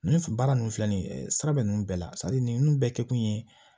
Ninnu fɛ baara ninnu filɛ nin ye sira bɛ ninnu bɛɛ la nin bɛɛ kɛ kun ye